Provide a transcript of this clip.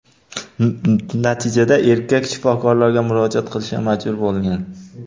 Natijada erkak shifokorlarga murojaat qilishga majbur bo‘lgan.